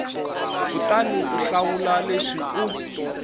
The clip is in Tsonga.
kutani u hlawula leswi u